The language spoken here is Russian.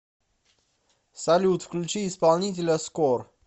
салют включи исполнителя скор